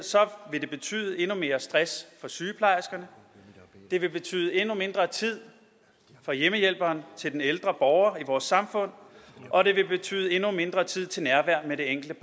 vil det betyde endnu mere stress for sygeplejerskerne det vil betyde endnu mindre tid for hjemmehjælperen til den ældre borger i vores samfund og det vil betyde endnu mindre tid til nærvær med det enkelte